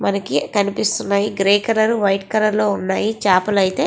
మనకి కనిపిస్తూ వున్నాయ్ గ్రీ కలర్ వైట్ కలర్ లో వున్నాయ్ చాపల్లు అయతె.